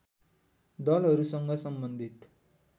दलहरूसँग सम्बन्धित